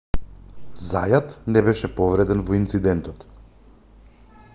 зајат не беше повреден во инцидентот